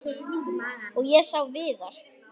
Og ég sá Viðar.